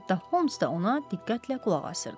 Hətta Holmes da ona diqqətlə qulaq asırdı.